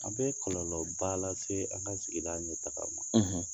A bɛ kɔlɔlɔba lase an ka sigida ɲɛtaga ma